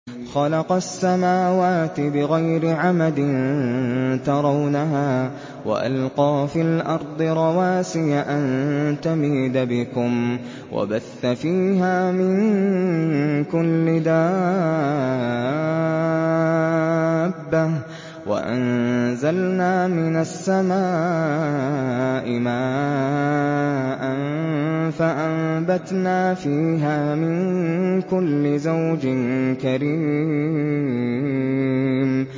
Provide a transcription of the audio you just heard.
خَلَقَ السَّمَاوَاتِ بِغَيْرِ عَمَدٍ تَرَوْنَهَا ۖ وَأَلْقَىٰ فِي الْأَرْضِ رَوَاسِيَ أَن تَمِيدَ بِكُمْ وَبَثَّ فِيهَا مِن كُلِّ دَابَّةٍ ۚ وَأَنزَلْنَا مِنَ السَّمَاءِ مَاءً فَأَنبَتْنَا فِيهَا مِن كُلِّ زَوْجٍ كَرِيمٍ